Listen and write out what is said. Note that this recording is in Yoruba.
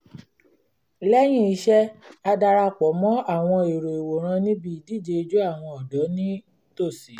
lẹ́yìn iṣẹ́ a dara pọ̀ mọ́ àwọn èrò ìwòran níbi idije ijó àwọn ọ̀dọ́ ní tòsí